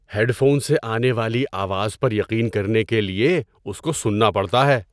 Head phone سے آنے والی آواز پر یقین کرنے کے لیے اس کو سننا پڑتا ہے۔